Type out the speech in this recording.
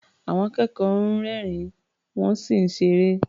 Àwọn akẹ́kọ̀ọ́ ń rẹ́rìn-ín, wọ́n sì ń ṣeré.